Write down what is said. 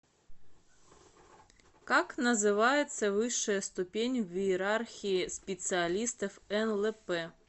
как называется высшая ступень в иерархии специалистов нлп